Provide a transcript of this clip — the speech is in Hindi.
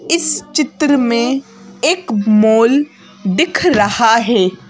इस चित्र में एक मोल दिख रहा है।